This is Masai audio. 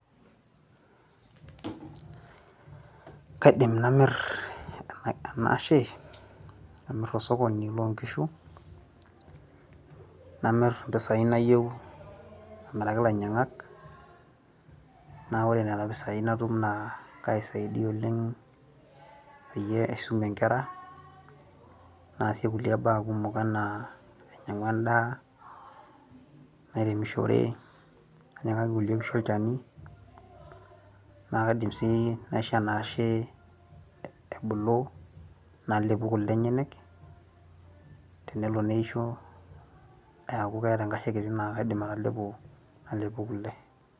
Kaidim namir ena ashe , amir tosokoni loo nkishu , namir impisai nayieu amiraki ilainyiangak naa ore nena pisai natum naa kaisaidia oleng peyie aisumie inkera naasie kulie baa kumok, anaa ainyiang'u endaa , nairemishore ,nainyiangaki kulie kishu olchani, naa kaidim sii naisho enaashe ebulu nalepu kule enyenek ,tenelo neishoeeku keeta enkashe kiti naa kaidim atalepo nalepu kule.